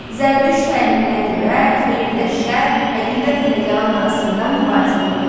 Zərdüşt təliminə görə xeyirlə şər, həqiqət ilə yalan arasında mübarizə gedir.